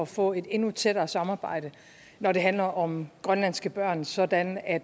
få et endnu tættere samarbejde når det handler om grønlandske børn sådan at